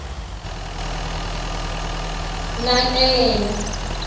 na ke yena